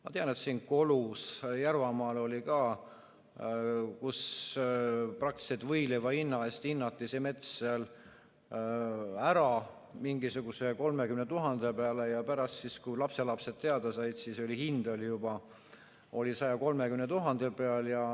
Ma tean, et Järvamaal Kolus oli ka, kus praktiliselt võileivahinna eest hinnati mets ära mingisuguse 30 000 peale ja pärast, kui lapselapsed teada said, siis hind oli juba 130 000 peal.